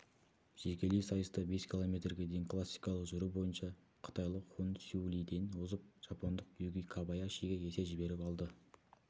жекелей сайыста бес километрге дейін классикалық жүру бойынша қытайлық хун сю лиден озып жапондық юки кобаяшиге есе жіберіп алды